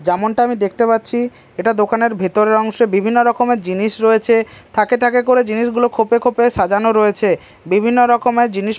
যেমনটা আমি দেখতে পাচ্ছি এটা দোকানের ভেতরের অংশ বিভিন্ন রকমের জিনিস রয়েছে থাকে থাকে করে জিনিসগুলো খোপে খোপে সাজানো রয়েছে বিভিন্ন রকমের জিনিস--